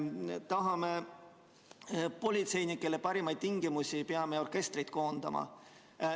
Kui tahame politseinikele paremaid tingimusi, peame orkestrid koondama.